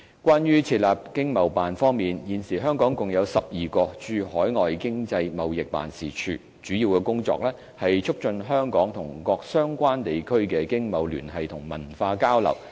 關於設立駐海外經濟貿易辦事處方面，現時香港共有12個經貿辦，主要工作是促進香港與各相關地區的經貿聯繫和文化交流。